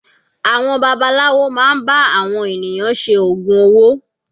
Àwọn babaláwo máa ń bá àwọn ènìyàn ṣe ògùn owó.